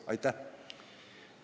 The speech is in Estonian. Aitäh!